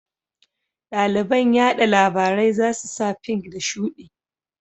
Ɗaliban yaɗa labarai za su sa fink da shuɗi